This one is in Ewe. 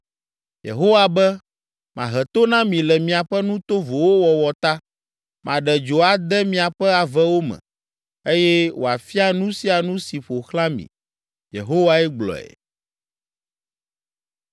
Yehowa be, “Mahe to na mi le miaƒe nu tovowo wɔwɔ ta, maɖe dzo ade miaƒe avewo me, eye wòafia nu sia nu si ƒo xlã mi.” ’” Yehowae gblɔe.